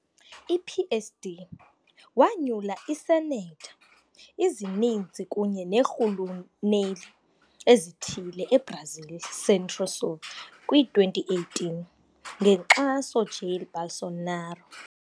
I-PSD wanyula iisenetha ezininzi kunye neerhuluneli ezithile eBrazil Centro-Sul kwi-2018, ngenkxaso Jair Bolsonaro.